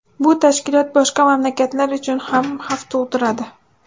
Bu tashkilot boshqa mamlakatlar uchun ham xavf tug‘diradi.